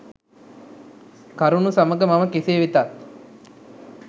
කරුණු සමග මම කෙසේ වෙතත්